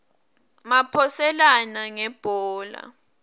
maphoselana ngebhola